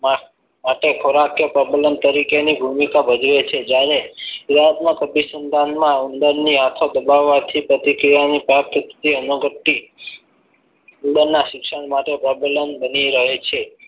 હાથી ખોરાક કે પ્રબલન તરીકેની ભૂમિકા ભજવે છે જ્યારે ક્રિયાત્મક અતિસંધાનમાં ઉંદરની હાથો દબાવવાથી પ્રતિક્રિયાને પ્રાપ્ત થતી અનુભૂતિ ઉંદરના શિક્ષણ માટે પ્રબલન બની રહે છે.